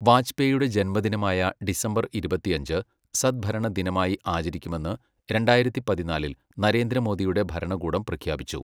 വാജ്പേയിയുടെ ജന്മദിനമായ ഡിസംബർ ഇരുപത്തിയഞ്ച്, സദ്ഭരണ ദിനമായി ആചരിക്കുമെന്ന് രണ്ടായിരത്തി പതിനാലിൽ നരേന്ദ്ര മോദിയുടെ ഭരണകൂടം പ്രഖ്യാപിച്ചു.